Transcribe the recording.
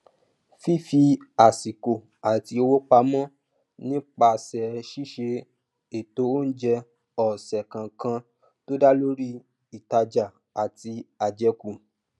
fífi àsìkò àti owó pamọ nípasẹ ṣiṣe ètò oúnjẹ ọsẹ kọọkan tó dá lórí ìtajà àti àjẹkù